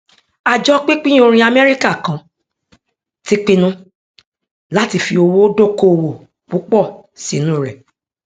àjọ pínpín orin amẹríkà kan ti pinnu láti fi owó dókòwò púpọ sínú rẹ